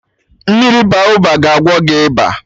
Mmiri Baoba ga agwọ gị ịba